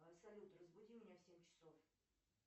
салют разбуди меня в семь часов